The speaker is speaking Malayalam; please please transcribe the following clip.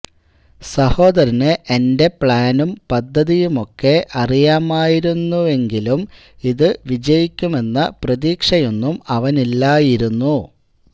സഹോദരന് എന്റെ പ്ലാനും പദ്ധതിയുമൊക്കെ അറിയാമായിരുന്നെങ്കിലും ഇതു വിജയിക്കുമെന്ന പ്രതീക്ഷയൊന്നും അവനില്ലായിരുന്നു